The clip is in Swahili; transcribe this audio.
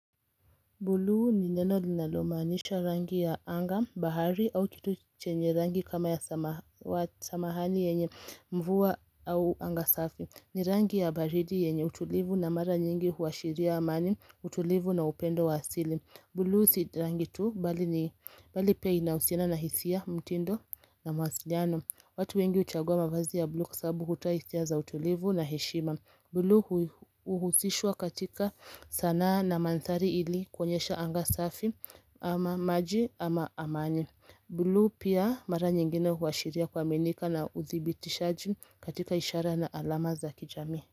Buluu ni neno linalomaanisha rangi ya anga, bahari au kitu chenye rangi kama ya samawati yenye mvua au anga safi ni rangi ya baridi yenye utulivu na mara nyingi huashiria amani, utulivu na upendo wa asili Buluu si rangi tu bali ni pia inahusina na hisia mtindo na mawasiliano watu wengi uchagua mafazi ya Buluu kwa sababu hutoa hisia za utulivu na heshima Buluu uhusishwa katika sanaa na manthari ili kuonyesha anga safi ama maji ama amani Buluu pia mara nyingine huashiria kuaminika na uthibitishaji katika ishara na alama za kijami.